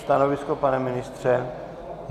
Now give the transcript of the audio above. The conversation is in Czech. Stanovisko, pane ministře?